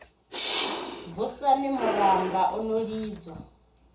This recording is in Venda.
vhushani murumba u no lidzwa